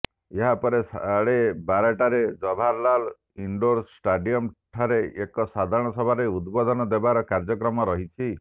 ଏହା ପରେ ସାଢ଼େ ବାରଟାରେ ଜବାହରଲାଲ ଇଣ୍ଡୋର ଷ୍ଟାଡ଼ିୟମଠାରେ ଏକ ସାଧାରଣ ସଭାରେ ଉଦ୍ବୋଧନ ଦେବାର କାର୍ଯ୍ୟକ୍ରମ ରହିଛି